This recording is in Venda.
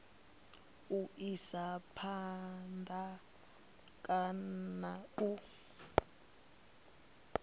u isa phanda kana u